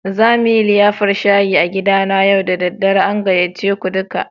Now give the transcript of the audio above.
Za mu yi liyafar shayi a gidana yau da dare. An gayyace ku duka.